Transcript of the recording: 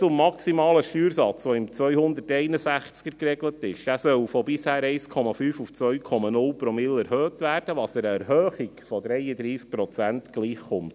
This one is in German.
Zum maximalen Steuersatz, der in Artikel 161 geregelt ist: Dieser soll von bisher 1,5 Promille auf 2,0 Promille erhöht werden, was einer Erhöhung von 33 Prozent gleichkommt.